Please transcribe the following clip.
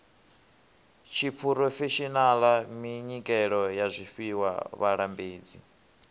tshiphurofeshenaḽa minyikelo ya zwifhiwa vhalambedzi